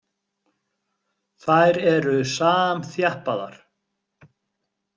Þær eru samþjappaðar.